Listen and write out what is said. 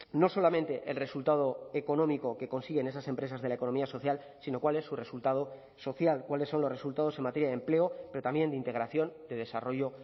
no solamente el resultado económico que consiguen esas empresas de la economía social sino cuál es su resultado social cuáles son los resultados en materia de empleo pero también de integración de desarrollo